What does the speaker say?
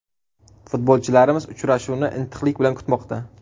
Futbolchilarimiz uchrashuvni intiqlik bilan kutmoqda.